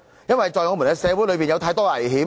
因為，在我們的社會裏有太多的危險。